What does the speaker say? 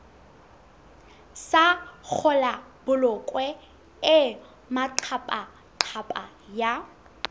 sa kgolabolokwe e maqaphaqapha ya